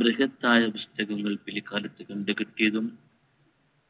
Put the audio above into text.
ബ്രിഹത്തായ പുസ്തകങ്ങൾ പില്കാലത് കണ്ടുകിട്ടിയതും